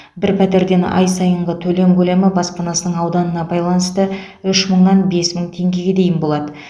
бір пәтерден ай сайынғы төлем көлемі баспанасының ауданына байланысты үш мыңнан бес мың теңгеге дейін болады